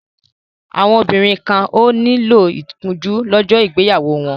Àwọn obìnrin kan ò ní lo ìkunjú lọ́jọ́ ìgbéyàwó wọn.